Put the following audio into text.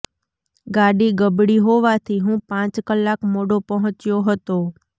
ગાડી બગડી હોવાથી હું પાંચ કલાક મોડો પહોંચ્યો હતો